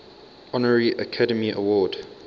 honorary academy award